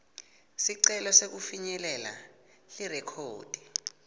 sicelo sekufinyelela lirekhodi